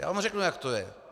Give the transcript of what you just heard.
Já vám řeknu, jak to je.